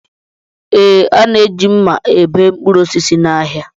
Ee, a na-eji mma ebe mkpụrụ osisi n'ahịa